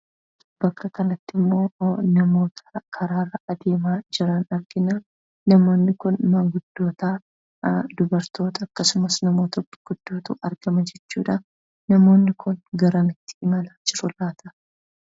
Bakka kanatti immoo namoota karaarra adeemaa jiran arginaa. Namoonni kun maanguddootaa, Dubartoota akkasumas namoota gurguddootu argama jechuudhaa. Namoonni kun garamitti imalaa jiru laata?